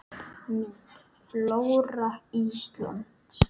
Mynd: Flóra Íslands